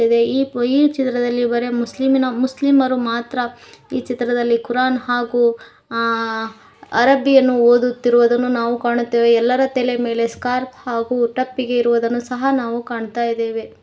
ಇದೆ ಈ ಚಿತ್ರದಲ್ಲಿ ಬರೆ ಮುಸ್ಲಿಂ ಇನ ಮುಸ್ಲಿಮ ರು ಮಾತ್ರ ಈ ಚಿತ್ರದಲ್ಲಿ ಕುರಾನ್ ಹಾಗು ಆ ಅರಬಿ ಯನ್ನು ಓದುತ್ತಿರುವುದನ್ನು ನಾವು ಕಾಣುತ್ತೇವೆ ಎಲ್ಲರ ತಲೆಯ ಮೇಲೆ ಸ್ಕ್ಯಾರ್ಫ್ ಹಾಗು ತಪ್ಪಿಗೆ ಇರುವುದನ್ನು ನಾವು ಕಾಣ್ತಾ ಇದ್ದೇವೆ.